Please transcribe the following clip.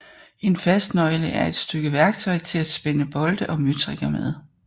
En fastnøgle er et stykke værktøj til at spænde bolte og møtrikker med